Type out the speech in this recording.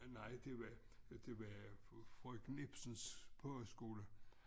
Nej det var det var frøken Ipsens pogeskole